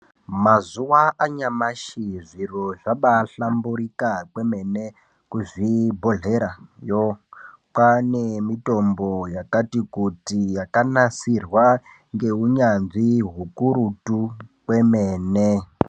Mazuwa anyamashi zviro zvabahlamburika kwemene kuzvibhodhlerayo kwaane mitombo yakati kuti yakanasirwa ngeunyanzvi hukurutu kwemene.